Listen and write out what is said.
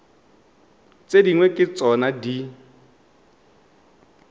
tse dingwe ke tsona di